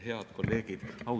Head kolleegid!